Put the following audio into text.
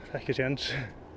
ekki séns